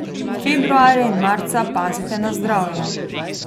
Februarja in marca pazite na zdravje.